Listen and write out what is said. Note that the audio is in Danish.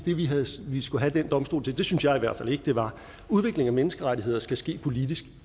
vi skulle have den domstol til det synes jeg i hvert fald ikke det var udvikling af menneskerettigheder skal ske politisk